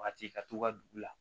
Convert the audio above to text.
Waati ka to ka dugu la